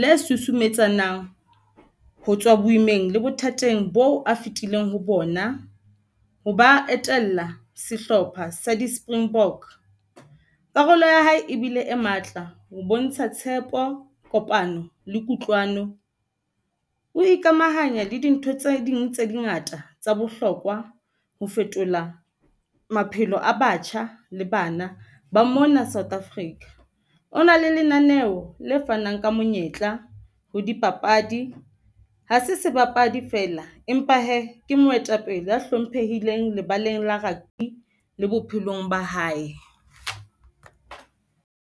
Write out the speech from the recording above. le susumetsanang, ho tswa boimeng le bothateng bo a fitileng ho bona ho ba a e tella sehlopha sa di-Springbok. Karolo ya hae ebile e matla ho bontsha tshepo, kopano le kutlwano. O ikamahanya le dintho tse ding tse ngata tsa bohlokwa ho fetola maphelo a batjha le bana ba mona South Africa. O na le lenaneo le fanang ka monyetla ho dipapadi. Ha se sebapadi fela, empa hee ke moetapele a hlomphehileng lebaleng la rugby le bophelong ba hae.